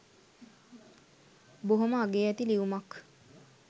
බොහොම අගේ ඇති ලියුමක්.